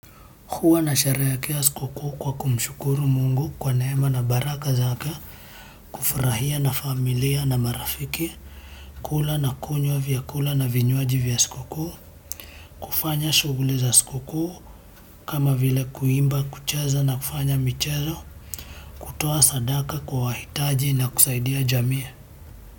Huwa nasherehekea siku kuu kwa kumshukuru Mungu kwa neema na baraka zake. Nafurahia na familia na marafiki kula na kunywa vyakula na vinywaji vya siku kuu, kufanya shughuli za siku kuu kama vile kuimba kucheza na kufanya michezo kutoa sadaka kwa wahitaji na kusaidia jamii.